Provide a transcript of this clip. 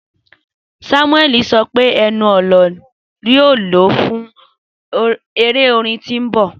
Samueli sọ pe ẹnu-ọna ẹnu-ọna yoo lo fun ere orin orin ti n bọ.